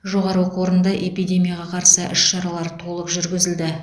жоғары оқу орында эпидемияға қарсы іс шаралар толық жүргізілді